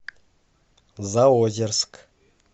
заозерск